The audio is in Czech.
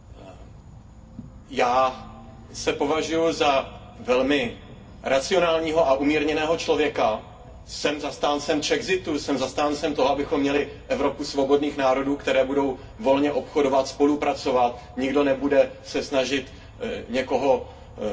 Já se považuju za velmi racionálního a umírněného člověka, jsem zastáncem Czexitu, jsem zastáncem toho, abychom měli Evropu svobodných národů, které budou volně obchodovat, spolupracovat, nikdo nebude se snažit někoho přehlasovávat.